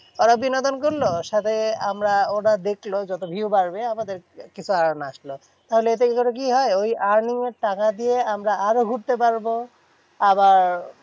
ওরা বিনোদন করলো। সাথে আমরা ওরা দেখলো যত view বাড়বে আমাদেরকে কিছু earn আসলো। তাহলে এতে করে কি হয়? ওই earning এর টাকা দিয়ে আমরা আরো ঘুরতে পারবো। আবার